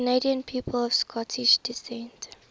canadian people of scottish descent